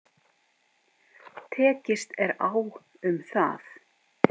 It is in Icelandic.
Tekist er á um það.